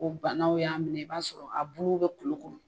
O banaw y'a minɛ i b'a sɔrɔ a bo bɛ kulu kɔnɔ